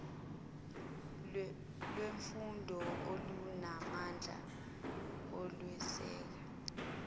lwemfundo olunamandla okweseka